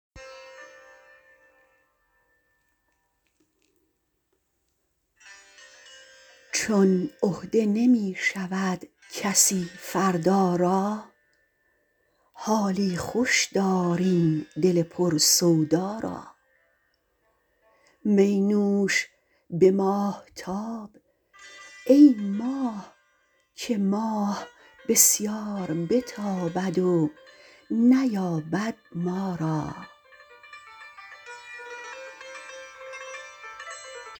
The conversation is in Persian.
چون عهده نمی شود کسی فردا را حالی خوش دار این دل پر سودا را می نوش به ماهتاب ای ماه که ماه بسیار بتابد و نیابد ما را